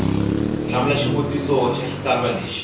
hlamula xivutiso xa xitsalwana eka